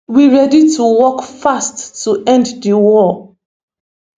we ready to work fast to end di war